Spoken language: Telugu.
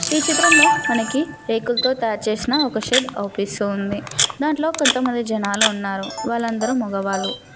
ఈ చిత్రంలో మనకి రేకులతో తయారుచేసిన ఒక ఆఫీస్ ఉంది దాంట్లో కొంతమంది జనాలు ఉన్నారు వాళ్ళందరూ మగవాళ్ళు.